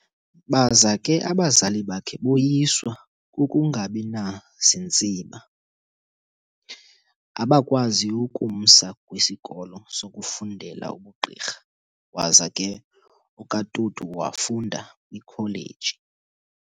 Baza ke abazali bakhe boyiswa kukungabinazintsiba abakwazi ukumsa kwisikolo sokufundela ubugqurha, waza ke okaTutu wafunda kwikholeji